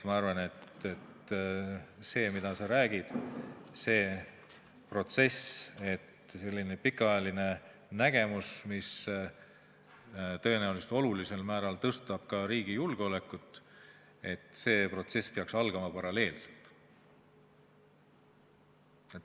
Ma arvan, et see, mida sa räägid, see protsess, selline pikaajaline nägemus, mis tõenäoliselt olulisel määral suurendab ka riigi julgeolekut – see protsess peaks algama paralleelselt.